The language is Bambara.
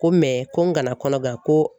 Ko ko n kana kɔnɔbara ko